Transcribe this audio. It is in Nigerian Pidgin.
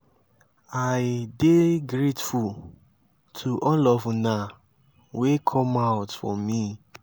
i dey grateful to all of una wey come out for me.